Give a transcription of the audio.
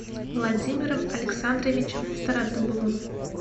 владимиром александровичем стародубовым